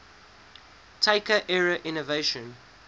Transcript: taika era innovation